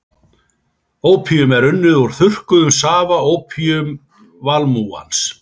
Ópíum er unnið úr þurrkuðum safa ópíumvalmúans.